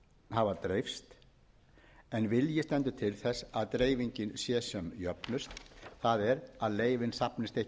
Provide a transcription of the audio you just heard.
hafa dreifst en vilji stendur til þess að dreifingin sé sem jöfnust það er að leyfin safnist ekki á